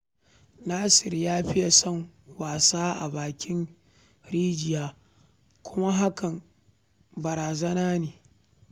Nasir ya fiye son wasa a bakin rijiya kuma hakan barazana ne